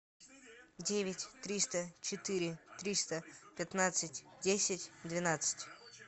девять триста четыре триста пятнадцать десять двенадцать